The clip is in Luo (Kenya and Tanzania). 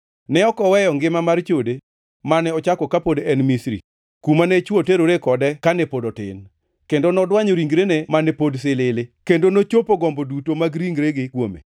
Ne ok oweyo ngima mar chode mane ochako kapod en Misri, kuma ne chwo teroree kode kane pod otin, kendo nodwanyo ringrene mane pod silili, kendo nochopo gombo duto mag ringregi kuome.